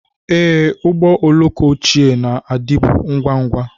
Ee, ụgbọ oloko ochie na-adịbu ngwa ngwa.